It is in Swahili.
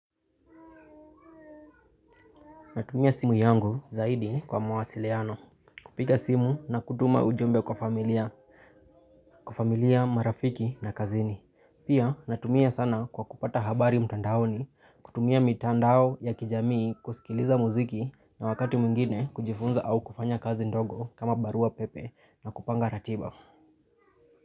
Natumia simu yangu zaidi kwa mawasiliano. Kupiga simu na kutuma ujumbe kwa familia kwa familia marafiki na kazini. Pia natumia sana kwa kupata habari mtandaoni kutumia mitandao ya kijamii kusikiliza muziki na wakati mwingine kujifunza au kufanya kazi ndogo kama barua pepe na kupanga ratiba.